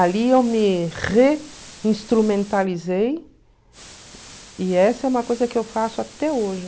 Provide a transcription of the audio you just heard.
Ali eu me reinstrumentalizei e essa é uma coisa que eu faço até hoje.